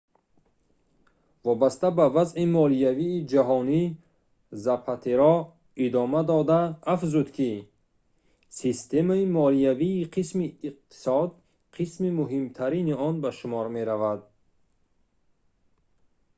вобаста ба вазъи молиявии ҷаҳонӣ запатеро идома дода афзуд ки системаи молиявӣ қисми иқтисод қисми муҳимтарин он ба шумор меравад